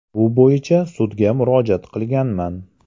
Bu bo‘yicha sudga murojaat qilganman.